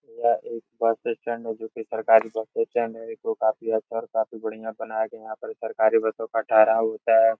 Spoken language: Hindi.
यह एक बस स्टैंड है जोकि सरकारी बस स्टैंड है इसको काफी अच्छा और बढ़िया बनाया गया है यहाँ पर सरकारी बसों का ठेहराव होता है।